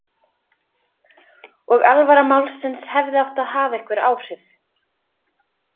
Og alvara málsins hefði átt að hafa einhver áhrif.